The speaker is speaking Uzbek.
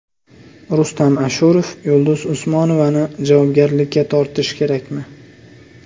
Rustam Ashurov Yulduz Usmonovani javobgarlikka tortish kerakmi?